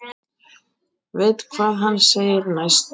Veit hvað hann segir næst.